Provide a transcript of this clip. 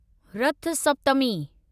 रथ सप्तमी